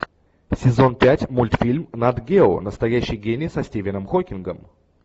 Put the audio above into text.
сезон пять мультфильм нат гео настоящий гений со стивеном хокингом